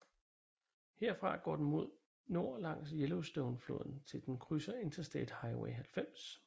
Herfra går den mod nord langs Yellowstonefloden til den krydser Interstate Highway 90